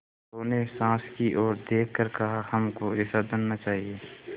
बहू ने सास की ओर देख कर कहाहमको ऐसा धन न चाहिए